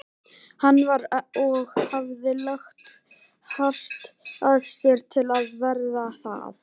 Hann var- og hafði lagt hart að sér til að verða það